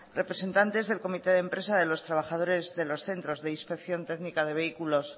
representantes del comité de empresa de los trabajadores de los centros de inspección técnica de vehículos